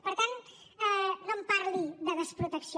per tant no em parli de desprotecció